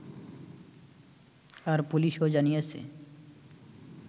আর পুলিশও জানিয়েছে